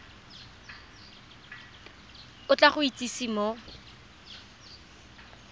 o tla go itsise mo